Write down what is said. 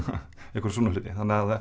einhverja svona hluti